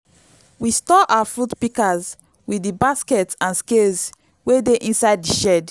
we store our fruit pikas with di baskets and scales wey dey inside the shed